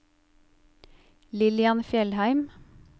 Lillian Fjellheim